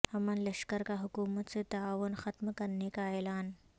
امن لشکر کا حکومت سے تعاون ختم کرنے کا اعلان